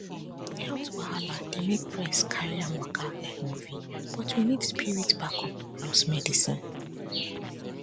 health wahala dey make press carry am waka like movie but we need spirit backup plus medicine